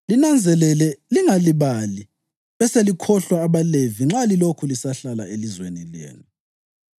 Linanzelele lingalibali beselikhohlwa abaLevi nxa lilokhu lisahlala elizweni lenu.